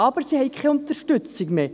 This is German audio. Sie haben aber keine Unterstützung mehr.